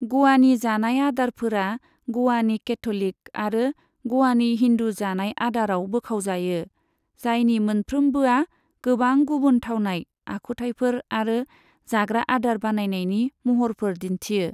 ग'वानि जानाय आदारफोरा ग'वानि केथ'लिक आरो ग'वानि हिन्दु जानाय आदाराव बोखावजायो, जायनि मोनफ्रोमबोआ गोबां गुबुन थावनाय, आखुथायफोर आरो जाग्रा आदार बानायनायनि महरफोर दिन्थियो।